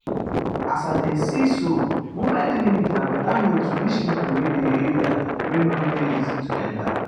as i dey see so mobile clinic na better way to reach pipo wey dey area wey no easy to enta.